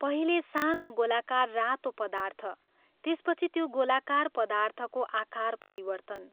पहिले सानो गोलाकार रातो पदार्थ त्यसपछि त्यो गोलाकार पदार्थको आकार परिवर्तन।